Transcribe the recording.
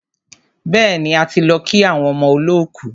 Bẹ́ẹ̀ni, a ti lọ kí àwọn ọmọ olọ́kù.